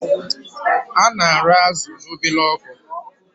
Ana arụ azụ na obele ọkụ